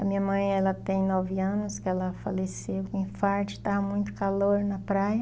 A minha mãe, ela tem nove anos, que ela faleceu com infarto, e estava muito calor na praia.